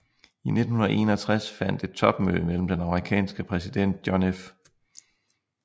I 1961 fandt et topmøde mellem den amerikanske præsident John F